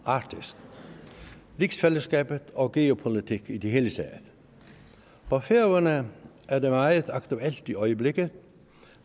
arktis rigsfællesskabet og geopolitik i det hele taget for færøerne er det meget aktuelt i øjeblikket